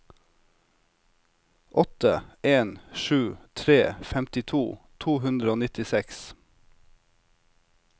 åtte en sju tre femtito to hundre og nittiseks